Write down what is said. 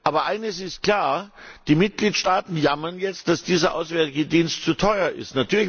Aber eines ist klar Die Mitgliedstaaten jammern jetzt, dass dieser Auswärtige Dienst zu teuer ist.